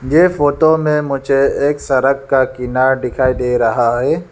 यह फोटो में मुझे एक सड़क का किनारा दिखाई दे रहा है।